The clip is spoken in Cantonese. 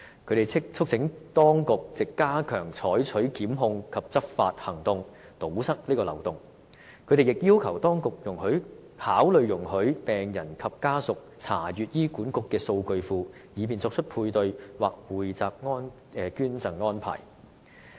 他們促請當局藉加強採取檢控及執法行動，堵塞漏洞，同時，他們亦要求當局考慮，容許病人及家屬查閱醫管局的數據庫，以便作出配對或匯集捐贈安排。